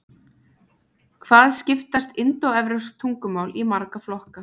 hvað skiptast indóevrópsk tungumál í marga flokka